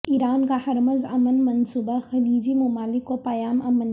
ایران کا ہرمز امن منصوبہ خلیجی ممالک کو پیام امن